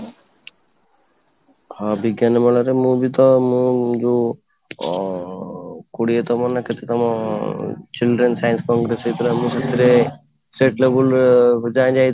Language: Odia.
ହଁ, ବିଜ୍ଞାନ ମେଳା ରେ ମୁଁ ବି ତ ମୁଁ ଯୋଉ ଅଂ କୋଡିଏତମ ନା କେତେ ତମ children science ଅନୁଷ୍ଠିତ ହେଇଥିଲା ମୁଁ ସେଥିରେ state level